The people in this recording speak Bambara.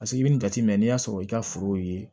Paseke i bɛ nin jateminɛ n'i y'a sɔrɔ i ka foro ye